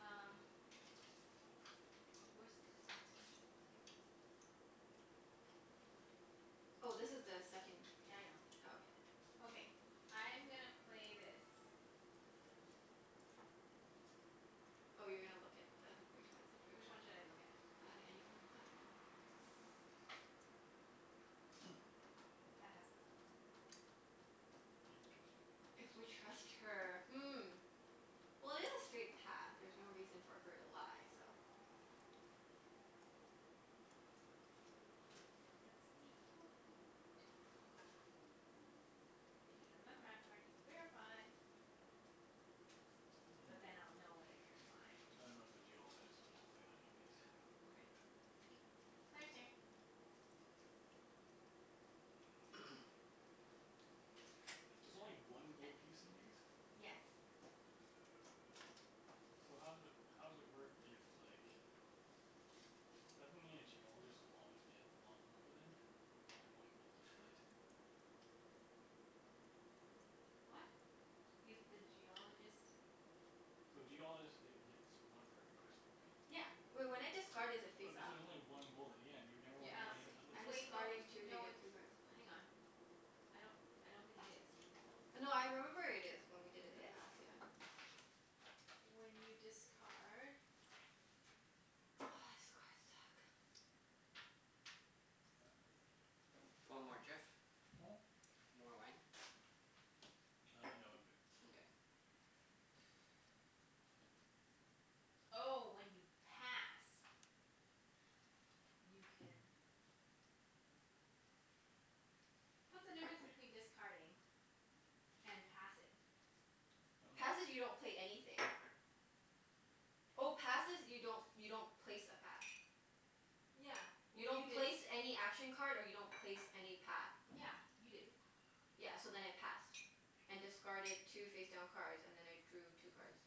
Um where's the instructions? Here? Oh, this is the second Yeah, I know. Oh, okay. Okay. I'm gonna play this. Oh, you're gonna look at the, which one is the card? Which one should I look at? On any one, I dunno. That has the gold. If we trust her. If we trust her. Hmm. Well, it is a straight path. There's no reason for her to lie, so It has the gold. If you have another map card you can verify. But then Mm. I'll know whether you're lying. I don't know if the Geologist, but I'll play that anyways. Okay. Claire's turn. There's only I I one gold piece in these? Yes. So how does it, how does it work if like Doesn't it mean a Geologist will always get lot more then? If you only have one gold to split? What? If the Geologist So Geologist get gets one for every crystal, right? Yeah. Wait, when I discard is it But face this up? is only one gold at the end. You'd never Yeah, wanna be Uh, it anything is other so I'm than the wait. No discarding Geologist. two to no, get it's two cards. Hang on. I don't I don't think it is. No, I remember it is, when we It did in the is? past. Yeah. When you discard Oh, this cards suck. Do you want more, Jeff? Hmm? More wine? Uh, no, I'm good. Nkay. Oh, when you pass. You can What's the difference between discarding and passing? I dunno. Passing, you don't pay anything. Oh, passes you don't, you don't place a path. Yeah. You Well, you don't place didn't any action card and you don't place any path. Yeah. You didn't. Yeah, so then I passed. And discarded two face down cards, and then I drew two cards.